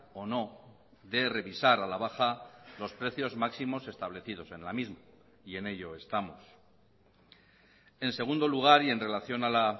o no de revisar a la baja los precios máximos establecidos en la misma y en ello estamos en segundo lugar y en relación a la